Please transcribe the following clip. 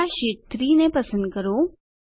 પહેલા શીટ 3 ને પસંદ કરો